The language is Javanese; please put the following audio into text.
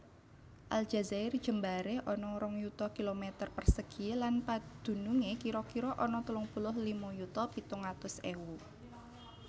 Aljazair jembaré ana rong yuta kilometer persegi lan padunungé kira kira ana telung puluh lima yuta pitung atus ewu